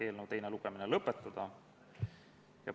Kõnesoove ei ole, läheme lõpphääletuse juurde.